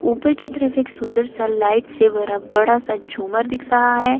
ऊपर की तरफ एक सुंदर सा लाइट से भरा बड़ा सा झूमर दिख रहा है।